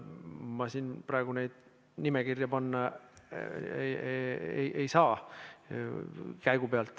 Ma siin praegu käigu pealt neid nimekirja panna ei saa.